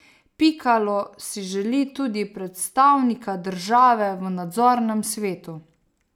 Pikalo si želi tudi predstavnika države v nadzornem svetu.